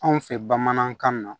Anw fɛ bamanankan na